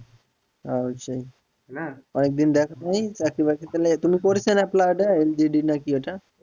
না অনেক দিন দেখা হয়নি চাকরি বকরী পেলে তুমি করেছ ওটা apply